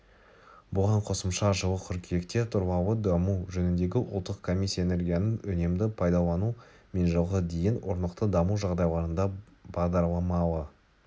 бұған қосымша жылы қыркүйекте тұрлаулы даму жөніндегі ұлттық комиссия энергияны үнемді пайдалану мен жылғы дейін орнықты даму жағдайларында баламалы